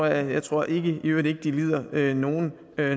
jeg tror i øvrigt ikke at de lider nogen